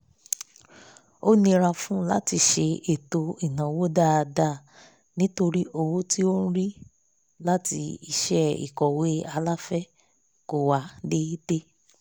ó nira fún un láti ṣe ètò ináwó dáadáa nítorí owó tí ó ń rí láti iṣẹ́ ìkọ̀wé aláfẹ̀ẹ́ kọ̀ wá déédé